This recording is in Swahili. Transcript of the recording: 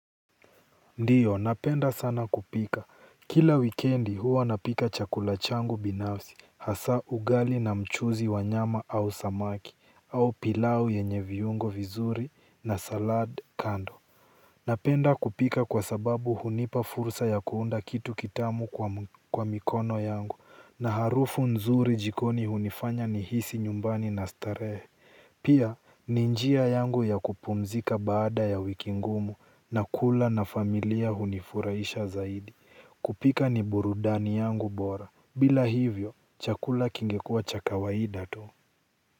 Ndiyo napenda sana kupika. Kila wikendi huwa napika chakula changu binafsi hasa ugali na mchuzi wa nyama au samaki au pilau yenye viungo vizuri na salad kando. Napenda kupika kwa sababu hunipa fursa ya kuunda kitu kitamu kwa mikono yangu na harufu nzuri jikoni hunifanya nihisi nyumbani na starehe. Pia ni njia yangu ya kupumzika baada ya wiki ngumu na kula na familia hunifurahisha zaidi kupika ni burudani yangu bora. Bila hivyo, chakula kingekuwa cha kawaida tu.